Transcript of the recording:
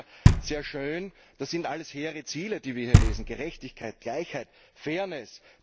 Der liest sich ja sehr schön, das sind alles hehre Ziele, die wir hier lesen Gerechtigkeit, Gleichheit, Fairness.